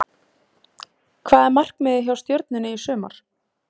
Hvað er markmiðið hjá Stjörnunni í sumar?